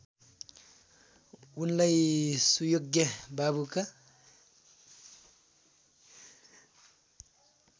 उनलाई सुयोग्य बाबुका